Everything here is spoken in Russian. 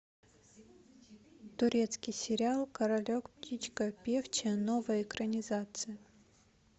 турецкий сериал королек птичка певчая новая экранизация